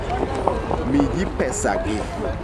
Mi ji pesagi.